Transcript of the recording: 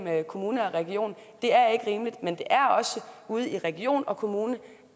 kommune og region det er ikke rimeligt men det er også ude i region og kommune